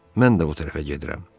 Mən də bu tərəfə gedirəm.